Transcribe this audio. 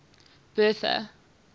bertha